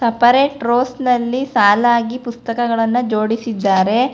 Separate ಟ್ರೋಸ್ಟ್ ನಲ್ಲಿ ಸಾಲಾಗಿ ಪುಸ್ತಕಗಳನ್ನು ಜೋಡಿಸಿದ್ದಾರೆ.